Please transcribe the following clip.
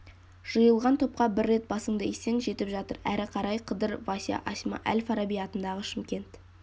жиылған топқа бір рет басыңды исең жетіп жатыр әрі қарай қыдыр вася асма әл фараби атындағы шымкент